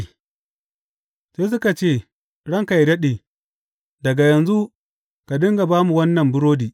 Sai suka ce, Ranka yă daɗe, daga yanzu ka dinga ba mu wannan burodi.